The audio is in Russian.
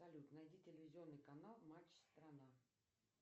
салют найди телевизионный канал матч страна